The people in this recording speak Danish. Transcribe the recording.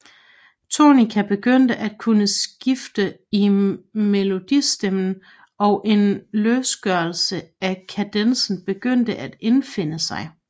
Tonika begyndte at kunne skifte i melodistemmen og en løsgørelse af kadencen begyndte at indfinde sig